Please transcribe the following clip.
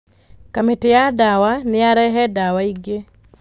Kamĩtĩya dawa nĩyarehe dawa ingĩ.